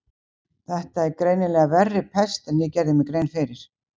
Þetta er greinilega verri pest en ég gerði mér grein fyrir.